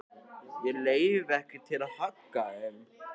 Ég hef ekki leyfi til að hagga þeim.